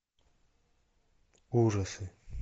ужасы